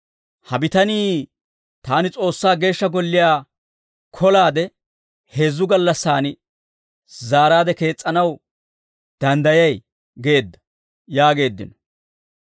«Ha bitanii, ‹Taani S'oossaa Geeshsha Golliyaa kolaade, heezzu gallassaan zaaraade kees's'anaw danddayay› geedda» yaageeddino.